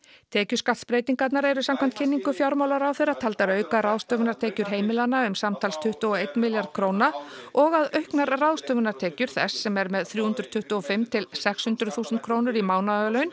tekjuskattsbreytingarnar eru samkvæmt kynningu fjármálaráðherra taldar auka ráðstöfunartekjur heimilanna um samtals tuttugu og einn milljarð króna og að auknar ráðstöfunartekjur þess sem er með þrjú hundruð tuttugu og fimm til sex hundruð þúsund krónur í mánaðarlaun